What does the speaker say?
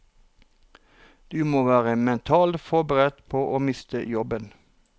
Du må være mentalt forberedt på å miste jobben.